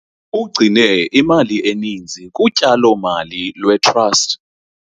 Ugcine imali eninzi kutyalo-mali lwe-trust.